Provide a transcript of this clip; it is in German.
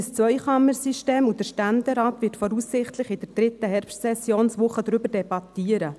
Wir haben ein Zweikammer-System, und der Ständerat wird voraussichtlich in der dritten Herbstsessionswoche darüber debattieren.